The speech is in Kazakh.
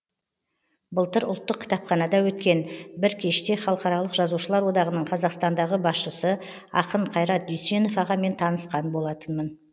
былтыр ұлттық кітапханада өткен бір кеште халықаралық жазушылар одағының қазақстандағы басшысы ақын қайрат дүйсенов ағамен танысқан болатынмын